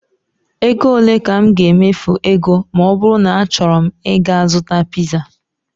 Ego ole ka m ga-emefu ego ma ọ bụrụ na achọrọ m ịga zụta piza?